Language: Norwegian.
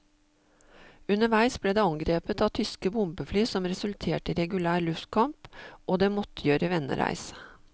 Underveis ble det angrepet av tyske bombefly som resulterte i regulær luftkamp, og det måtte gjøre vendereis.